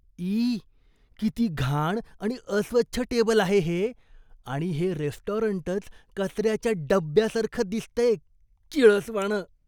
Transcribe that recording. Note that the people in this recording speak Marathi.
ई! किती घाण आणि अस्वच्छ टेबल आहे हे आणि हे रेस्टॉरंटच कचऱ्याच्या डब्ब्यासारखं दिसतंय, किळसवाणं!